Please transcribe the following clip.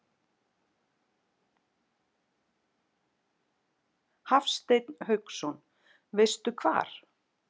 Hafsteinn Hauksson: Veistu hvar?